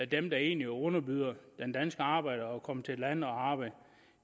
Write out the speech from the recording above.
dem der egentlig underbyder den danske arbejder at komme til landet og arbejde